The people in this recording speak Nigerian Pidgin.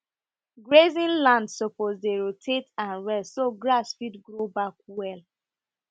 grazing land suppose dey roate and rest so grass fit grow back well